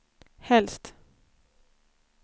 helst